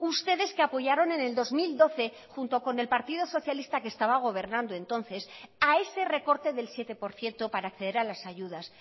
ustedes que apoyaron en el dos mil doce junto con el partido socialista que estaba gobernando entonces a ese recorte del siete por ciento para acceder a las ayudas